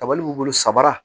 Kabali b'i bolo sabara